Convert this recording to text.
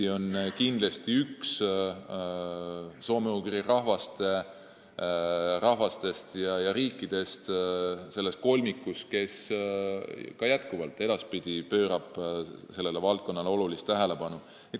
Ma usun, et me oleme üks soome-ugri rahvastest ja riikidest selles kolmikus, kes ka edaspidi sellele valdkonnale olulist tähelepanu pööravad.